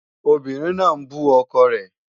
Obìnrin náà ń bú ọkọ rẹ̀